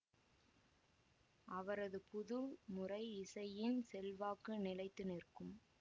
அவரது புது முறை இசையின் செல்வாக்கு நிலைத்து நிற்கும்